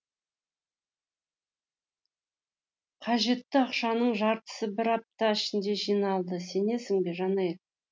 қажетті ақшаның жартысы бір апта ішінде жиналды сенесің бе жанель